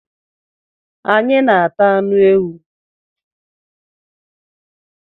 Anyị na ata anụ ewu